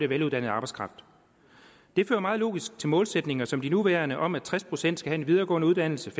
veluddannet arbejdskraft det fører meget logisk til målsætninger som de nuværende om at tres procent skal have en videregående uddannelse